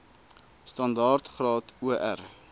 standaard graad or